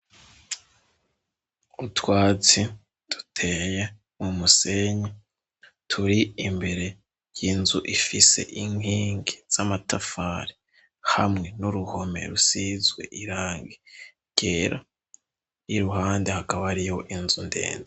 Utwazi duteye mumusenya turi imbere y'inzu ifise inkingi z'amatafari hamwe n'uruhome rusizwe irange ryera yi ruhande hakabo ari yo inzu ndenze.